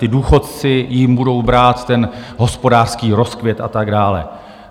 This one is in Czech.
ti důchodci jim budou brát ten hospodářský rozkvět a tak dále.